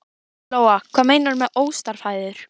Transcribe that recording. Lóa: Hvað meinarðu með óstarfhæfur?